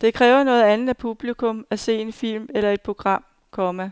Det kræver noget andet af publikum at se en film eller et program, komma